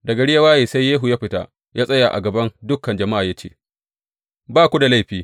Da gari ya waye, sai Yehu ya fita ya tsaya a gaban dukan jama’a ya ce, Ba ku da laifi.